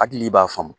Hakili b'a faamu